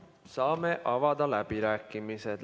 Saame avada läbirääkimised.